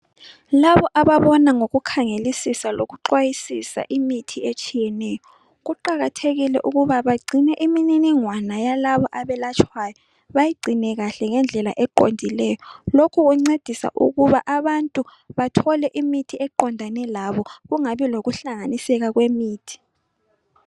Labo ababona ngokukhangelisisa lokuxwayisisa imithi etshiyeneyo kuqakathekile ukuba bagcine imininingwana yalabo abelatshwayo bayigcine kahle ngendlela eqondileyo lokhu kwencedisa ukuba abantu bathole imithi eqondane labo kungabi loluhlanganiseka kwemithi.